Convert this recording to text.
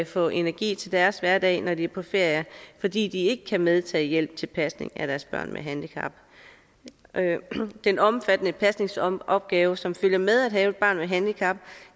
få energi til deres hverdag når de er på ferier fordi de ikke kan medtage hjælp til pasning af deres børn med handicap den omfattende pasningsopgave som følger med det at have et barn med handicap